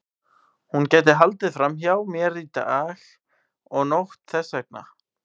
Hún gæti haldið fram hjá mér dag og nótt þess vegna.